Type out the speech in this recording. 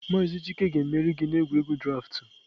Maazị chike ga-emeri gị n'egwuregwu draaftụ.